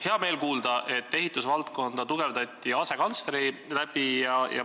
Hea meel on kuulda, et ehitusvaldkonda tugevdati asekantsleri abil.